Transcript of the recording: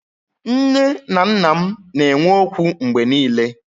Nné na nnà m na enwe ókwú mgbé niile